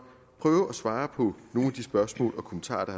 prøve at svare på nogle af de spørgsmål og kommentarer